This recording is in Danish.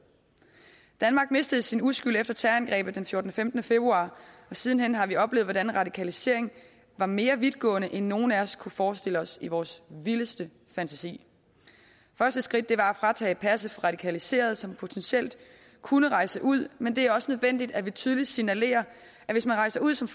danmark mistede sin uskyld efter terrorangrebet den fjortende og femtende februar og siden har vi oplevet hvordan radikaliseringen var mere vidtgående end nogen af os kunne forestille os i vores vildeste fantasi første skridt var at tage passet fra radikaliserede som potentielt kunne rejse ud men det er også nødvendigt at vi tydeligt signalerer at hvis man rejser ud som